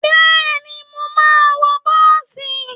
Bẹ́ẹ̀ni, Mo ma wọ bọ́ọ̀sì.